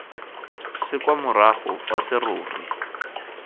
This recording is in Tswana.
se kwa morago fa serori